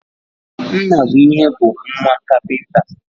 Nnabuihe bu nwa kapinta